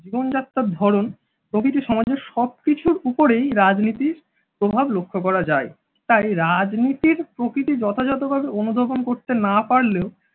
জীবনযাত্রার ধরণ প্রকৃতি সমাজের সব কিছুর উপরেই রাজনীতির প্রভাব লক্ষ্য করা যায়। তাই রাজনীতির প্রকৃতি যথাযথভাবে অনুধবন করতে না পারলে